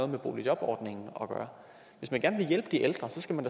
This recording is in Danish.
med boligjobordningen at gøre hvis man gerne vil hjælpe de ældre skal man